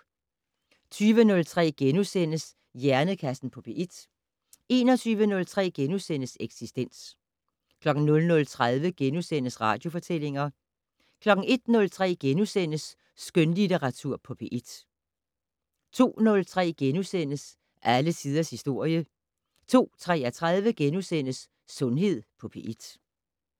20:03: Hjernekassen på P1 * 21:03: Eksistens * 00:30: Radiofortællinger * 01:03: Skønlitteratur på P1 * 02:03: Alle tiders historie * 02:33: Sundhed på P1 *